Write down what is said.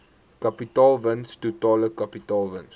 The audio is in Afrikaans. kapitaalwins totale kapitaalwins